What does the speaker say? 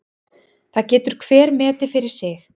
Það getur hver metið fyrir sig.